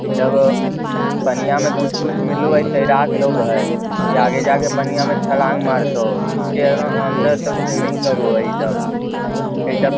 इ सब पनियाँ में कुछ-कुछ मिलु है तैराक लोग है की आगे जा के पनिया में छलांग मारतो नीचे एक्दम अंदर तक स्विमिंग करो ह इ सब इ सब --